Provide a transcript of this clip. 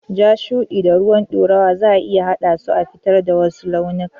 Ja, shuɗi da ruwan ɗorawa zaa iya haɗa su a fitar da wasu launikan.